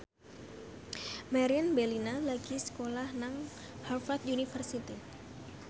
Meriam Bellina lagi sekolah nang Harvard university